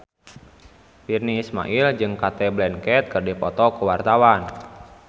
Virnie Ismail jeung Cate Blanchett keur dipoto ku wartawan